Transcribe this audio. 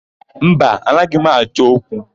Mba, anaghị m achọ okwu.